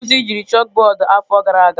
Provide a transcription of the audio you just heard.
Ndị nkuzi jiri chakụbọọdụ afọ gara aga.